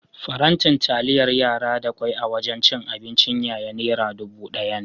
Faranti taliyar yara da kwai a wajan cin abincin yaya nera dubu ɗaya ne.